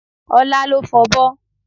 Ọlá ló fọbọ́